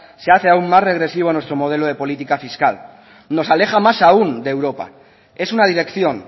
se hace aún más regresivo a nuestro modelo de política fiscal nos aleja más aún de europa es una dirección